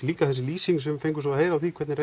líka þessi lýsing sem við fengum á því hvernig